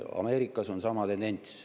Ameerikas on sama tendents.